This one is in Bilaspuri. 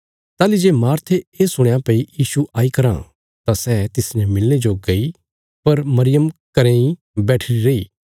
ताहली जे मार्थे ये सुणया भई यीशु आई कराँ तां सै तिसने मिलणे जो गई पर मरियम घरें इ बैठीरी रैई